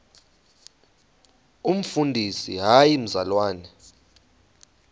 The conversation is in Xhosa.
umfundisi hayi mzalwana